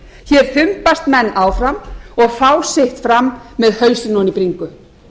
hér þumbast menn áfram og fá sitt fram með hausinn ofan í bringu